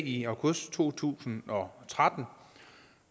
i august to tusind og tretten